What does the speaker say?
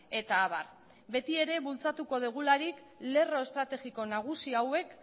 eta abar beti ere bultzatuko dugularik lerro estrategiko nagusi hauek